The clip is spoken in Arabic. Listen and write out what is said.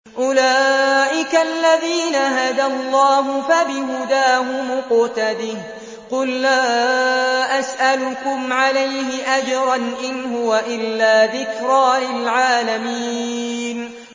أُولَٰئِكَ الَّذِينَ هَدَى اللَّهُ ۖ فَبِهُدَاهُمُ اقْتَدِهْ ۗ قُل لَّا أَسْأَلُكُمْ عَلَيْهِ أَجْرًا ۖ إِنْ هُوَ إِلَّا ذِكْرَىٰ لِلْعَالَمِينَ